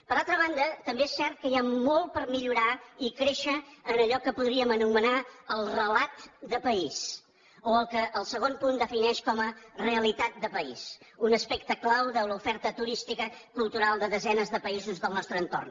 per altra banda també és cert que hi ha molt per millorar i créixer en allò que podríem anomenar el relat de país o el que el segon punt defineix com a realitat de país un aspecte clau de l’oferta turística cultural de desenes de països del nostre entorn